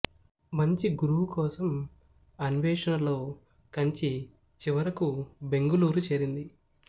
మంచి గురువు కోసం అన్వేషణలో కంచి చివరకు బెంగళూరు చేరింది